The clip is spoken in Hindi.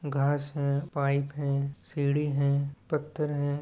घास है पाइप है सीढ़ी है पत्थर है।